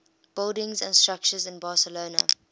buildings and structures in barcelona